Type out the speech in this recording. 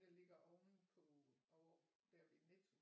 Der ligger ovenpå ovre der ved Netto